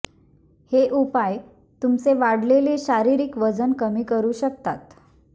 हे उपाय तुमचे वाढलेले शारीरिक वजन कमी करू शकतात